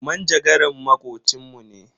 Manjagaran makocin mu ne.